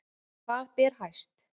Hvað ber hæst